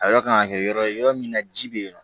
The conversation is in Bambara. A yɔrɔ kan ka kɛ yɔrɔ ye yɔrɔ min na ji bɛ yen nɔ